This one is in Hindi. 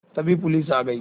तभी पुलिस आ गई